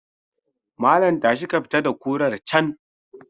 Malam tashi ka fita da kurar can.